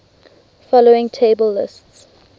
following table lists